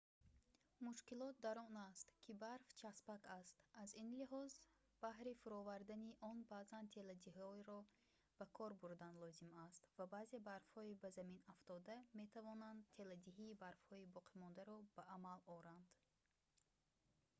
мушкилот дар он аст ки барф часпак аст аз ин лиҳоз баҳри фуровардани он баъзан теладиҳиро ба кор бурдан лозим аст ва баъзе барфҳои ба замин афтода метавонанд теладиҳии барфҳои боқимондаро ба амал оранд